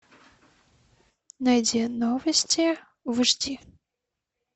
найди новости в эйч ди